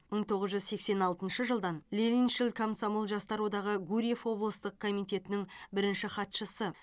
мың тоғыз жүз сексен алтыншы жылдан лениншіл комсомол жастар одағы гурьев облыстық комитетінің бірінші хатшысы